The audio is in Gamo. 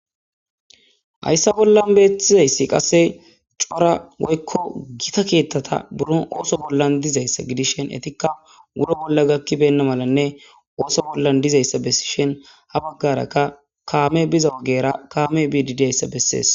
Haysa bolla bettizaysi qaseka cora gotta ketata buro oso bolla dizaysa gidishin etika wuro bolla gakibeyna malanne oso bollan dizaysa besishin ha bagara kame biza ogiyara kamey bidi dizasya beses.